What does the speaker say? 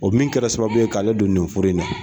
O min kɛra sababu ye k'ale don nin furu in na